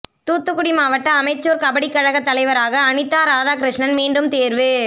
தூத்துக்குடி மாவட்ட அமெச்சூர் கபடி கழகத் தலைவராக அனிதா ராதாகிருஷ்ணன் மீண்டும் தேர்வு